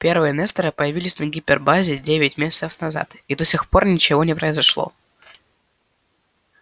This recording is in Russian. первые несторы появились на гипербазе девять месяцев назад и до сих пор ничего не произошло